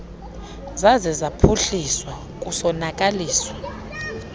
zaze zaphuhliswa kusonakaliswa